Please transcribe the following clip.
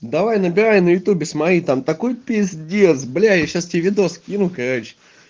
давай набирай на ютюбе смотреть там такой пиздец бляя я сейчас тебе видос скину короче